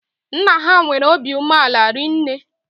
Nna ha nwere óbị umeala rinne